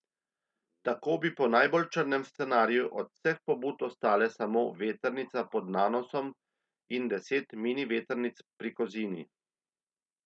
Tako bi po najbolj črnem scenariju od vseh pobud ostale samo vetrnica pod Nanosom in deset mini vetrnic pri Kozini.